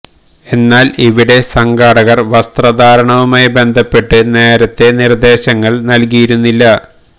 എന്നാൽ ഇവിടെ സംഘാടകര് വസ്ത്ര ധാരണവുമായി ബന്ധപ്പെട്ട് നേരത്തെ നിര്ദേശങ്ങള് നല്കിയിരുന്നില്ല